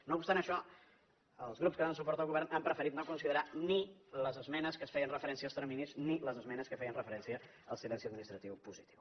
no obstant això els grups que donen suport al govern han preferit no considerar ni les esmenes que feien referència als terminis ni les esmenes que feien referència al silenci administratiu positiu